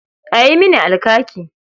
A yi mini alkaki.